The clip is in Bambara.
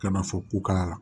Ka na fɔ ko kala